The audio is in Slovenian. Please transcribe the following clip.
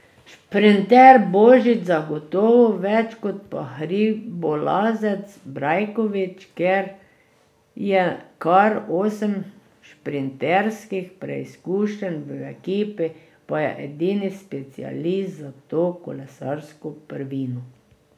Šprinter Božič zagotovo več kot pa hribolazec Brajkovič, ker je kar osem šprinterskih preizkušenj, v ekipi pa je edini specialist za to kolesarsko prvino.